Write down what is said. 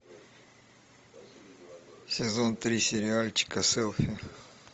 сезон три сериальчика селфи